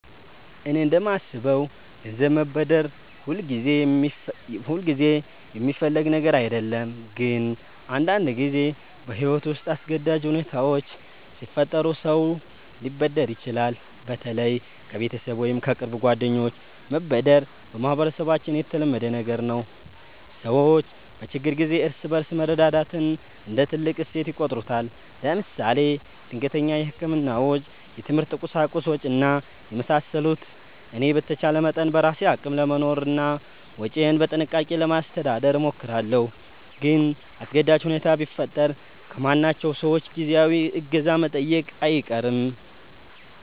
እኔ እንደማስበው ገንዘብ መበደር ሁልጊዜ የሚፈለግ ነገር አይደለም፣ ግን አንዳንድ ጊዜ በሕይወት ውስጥ አስገዳጅ ሁኔታዎች ሲፈጠሩ ሰው ሊበደር ይችላል። በተለይ ከቤተሰብ ወይም ከቅርብ ጓደኞች መበደር በማህበረሰባችን የተለመደ ነገር ነው። ሰዎች በችግር ጊዜ እርስ በርስ መረዳዳትን እንደ ትልቅ እሴት ይቆጥሩታል። ለምሳሌ ድንገተኛ የሕክምና ወጪ፣ የትምህርት ቁሳቁስ ወጭ እና የመሳሰሉት። እኔ በተቻለ መጠን በራሴ አቅም ለመኖርና ወጪዬን በጥንቃቄ ለማስተዳደር እሞክራለሁ። ግን አስገዳጅ ሁኔታ ቢፈጠር ከማምናቸው ሰዎች ጊዜያዊ እገዛ መጠየቄ አይቀርም